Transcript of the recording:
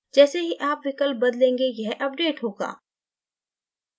जैसे ही आप विकल्प बदलेंगे यह अपडेट होगा